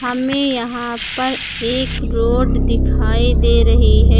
हमें यहां पर एक रोड दिखाई दे रही है।